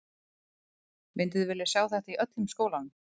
Mynduð þið vilja sjá þetta í öllum skólanum?